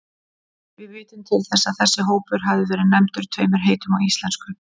Við vitum til þess að þessi hópur hafi verið nefndur tveimur heitum á íslensku.